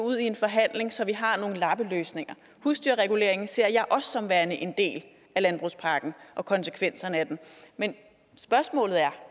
ud i en forhandling så vi har nogle lappeløsninger husdyrreguleringen ser jeg også som værende en del af landbrugspakken og konsekvenserne af den men spørgsmålet er